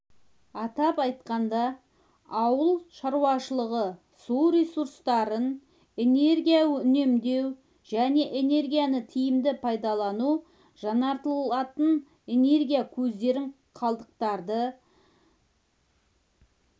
атап айтқанда ауыл шаруашылығы су ресурстарын энергия үнемдеу және энергияны тиімді пайдалану жаңартылатын энергия көздерін қалдықтарды